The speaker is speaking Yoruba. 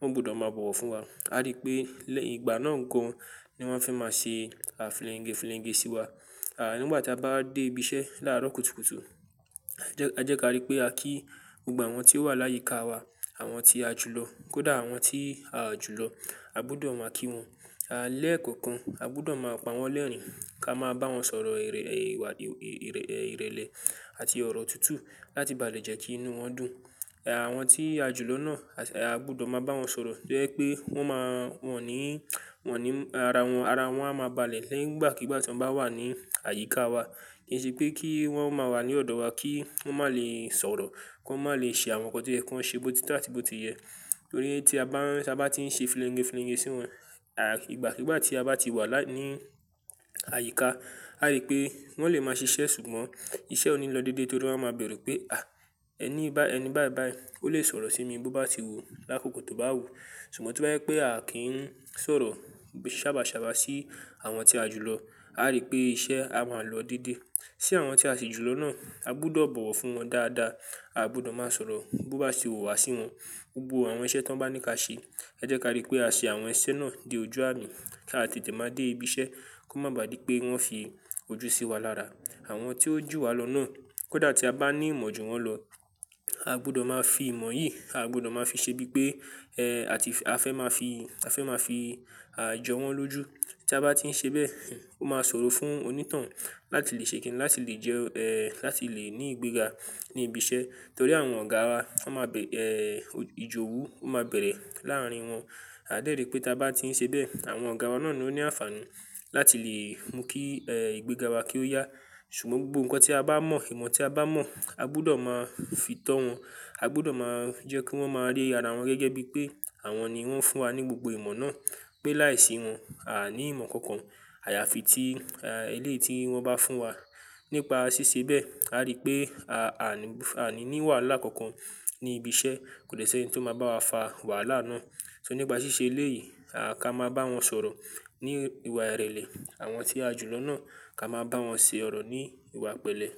wọ́n gbọdọ̀ máa bọ̀wọ̀ fún wa. A rí pé lẹ́yìn ìgbà náà gan an ni wọ́n fẹ́ máa ṣe, à, filenge filenge sí wa. À, nígbà tí a bá dé ibi iṣẹ́ láàárọ̀ kùtùkùtù, a jẹ́ kí a rí pé a kí gbogbo àwọn tí ó wà láyíká wa, àwọn tí a jù lọ́, kó dà àwọn tí a ò jù lọ́, a gbọdọ̀ máa kí wọn. À lẹ́ẹ̀kọ̀kan a gbọdọ̀ máa pa wọ́n lẹ́rìn-ín kí a máa bá wọn sọ̀rọ̀ ìrèlè àti ọ̀rọ̀ tútù láti baàlẹ̀ jẹ́ kí inú wọn dùn. Àwọn tí a jù lọ́ náà a gbọdọ̀ máa bá wọn sọ̀rọ̀ to jẹ́ pé wọ́n máa wọ́n ní, wọ́n ní ara wọn, ara wọn a máa balẹ̀ nìgbàkígbà tí wọ́n bá wà ní àyíká wa. Kí n sí pé kí wọ́n máa wà ní ọ̀dọ̀ wa kí wọ́n má lè sọ̀rọ̀, kí wọ́n má lè ṣe àwọn nǹkan to yẹ kí wọ́n ṣe bó ti tọ́ àti bó ti yẹ. Nítorí tí a bá, tí a bá tí ń ṣe filenge filenge sí wọn, àti ìgbàkígbà tí a bá ti wà laí ní àyíká, a rí pé wọ́n lè máa ṣiṣẹ́ ṣùgbọ́n iṣẹ́ ó ní lọ dédé torí wọ́n máa bẹ̀rù pé, "à, ẹni bá ẹni báì báì, ó lè sọ̀rọ̀ sí mi bó bá ti wò lákòókò tó bá wù." Ṣùgbọ́n to ba jẹ́ pé a kì ń sọ̀rọ̀ ṣábà ṣábà sí àwọn tí a jù lọ́, a rí pé iṣẹ́ a máa lọ dédé. Sí àwọn tí a sì jù lọ́ náà, a gbudọ̀ bọ̀wọ̀ fún wọn dáadáa, aa gbudọ̀ máa sọ̀rọ̀ bó bá ti wù wá sí wọn. Gbogbo àwọn iṣẹ́ tí wọ́n bá ní ká ṣe, ẹ jẹ́ kí á rí pé a ṣe àwọn iṣẹ́ náà dé ojú àmi kí a tètè máa dé ibi iṣẹ́ kó má baà dí pé wọ́n fi ojú sí wa lára. Àwọn tí ó jù wá lọ náà, kó dà tí a bá ní ìmọ̀ ju wọ́n lọ, a gbọdọ̀ máa fi ìmọ̀ yìí, a gbọdọ̀ máa fi ṣe bí pé, ẹ́, àti a fẹ́ máa fi, a fẹ́ máa fi, à, jọ wọ́n lójú. Tí a bá tí ń ṣe bẹ́ẹ̀, ó máa sọ̀rọ̀ fún onítànhun láti lè ṣe kín ní láti lè jẹ́, ẹ́, láti lè ní ìgbéga ní ibi iṣẹ́. Nítorí àwọn ọ̀gá wa, wọ́n má bẹ̀, ẹ́, ìjowú ó má bẹ̀rẹ̀ láàárín wọn. A dé rí pé tí a bá tí ń ṣe bẹ́ẹ̀, àwọn ọ̀gá wa náà ni ó ní àǹfààní láti lè mú kí, ẹ́, ìgbéga wa kí ó yá. Ṣùgbọ́n gbogbo nǹkan tí a bá mọ̀, ìmọ̀ tí a bá mọ̀, a gbọdọ̀ máa fi tọ́ wọn, a gbọdọ̀ máa jẹ́ kí wọ́n máa rí ara wọn gẹ́gẹ́ bí pé àwọn ni wọ́n fún wa ní gbogbo ìmọ̀ náà, pé láìsí wọn, a à ní ìmọ̀ kankan. Àyàfi tí, ẹ́, eléyìí tí wọ́n bá fún wa. Nípa ṣíṣe bẹ́ẹ̀, a rí pé a à ní wàhálà kankan ní ibi iṣẹ́, kò dẹ́ sẹni tí ó máa bá wa fa wàhálà náà. So nípa ṣíṣe eléyìí, ká máa bá wọn sọ̀rọ̀ ní ìwà ìrèlè, àwọn tí a jù lọ́ náà ká máa bá wọn se ọ̀rọ̀ ní ìwà pẹ̀lẹ́.